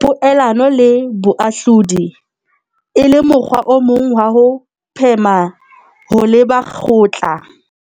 poelano le boahlodi, e le mokgwa o mong wa ho phema ho leba kgotla.